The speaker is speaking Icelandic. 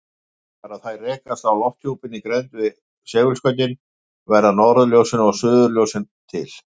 Þegar þær rekast á lofthjúpinn í grennd við segulskautin verða norðurljósin og suðurljósin til.